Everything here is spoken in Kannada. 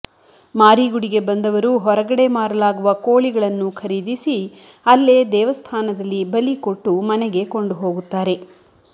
ಮಾರಿಗುಡಿಗೆ ಬಂದವರು ಹೊರಗಡೆ ಮಾರಲಾಗುವ ಕೋಳಿಗಳನ್ನು ಖರೀದಿಸಿ ಅಲ್ಲೇ ದೇವಸ್ಥಾನದಲ್ಲಿ ಬಲಿ ಕೊಟ್ಟು ಮನೆಗೆ ಕೊಂಡು ಹೋಗುತ್ತಾರೆ